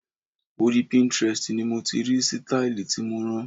Orí Pinterest ni mo ti rí sítáílì tí mo rán.